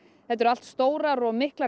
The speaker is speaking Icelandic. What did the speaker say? þetta eru allt stórar og miklar